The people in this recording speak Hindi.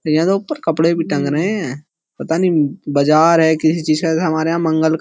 यहाँ तो ऊपर कपड़े भी टंग रहे हैं। पता नहीं बाजार है किसी चीज का। हमारे यहाँ क् --